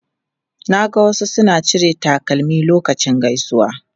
Na ga wasu suna cire takalmi lokacin gaisuwa.